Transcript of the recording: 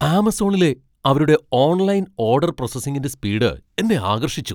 ആമസോണിലെ അവരുടെ online order പ്രോസസ്സിംഗിന്റെ speed എന്നെ ആകർഷിച്ചു.